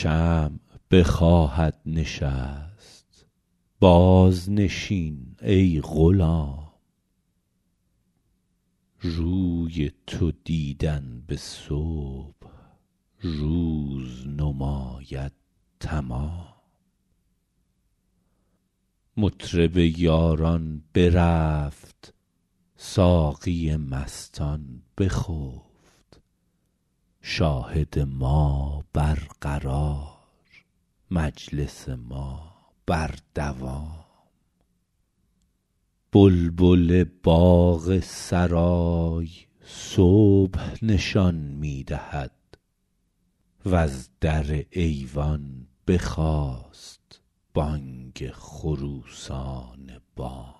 شمع بخواهد نشست بازنشین ای غلام روی تو دیدن به صبح روز نماید تمام مطرب یاران برفت ساقی مستان بخفت شاهد ما برقرار مجلس ما بر دوام بلبل باغ سرای صبح نشان می دهد وز در ایوان بخاست بانگ خروسان بام ما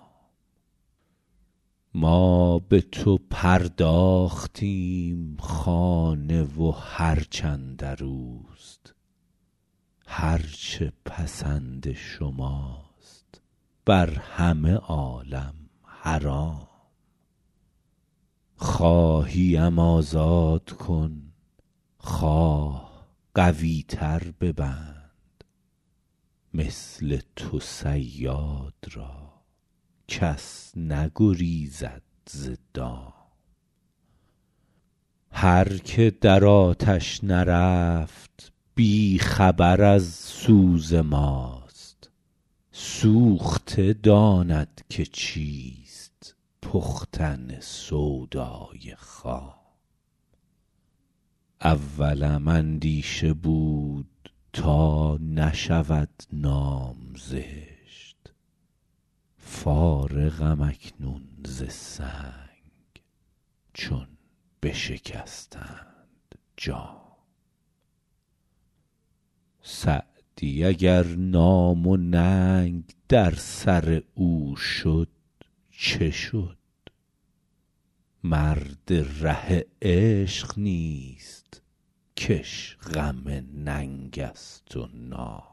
به تو پرداختیم خانه و هرچ اندر اوست هر چه پسند شماست بر همه عالم حرام خواهی ام آزاد کن خواه قوی تر ببند مثل تو صیاد را کس نگریزد ز دام هر که در آتش نرفت بی خبر از سوز ماست سوخته داند که چیست پختن سودای خام اولم اندیشه بود تا نشود نام زشت فارغم اکنون ز سنگ چون بشکستند جام سعدی اگر نام و ننگ در سر او شد چه شد مرد ره عشق نیست که اش غم ننگ است و نام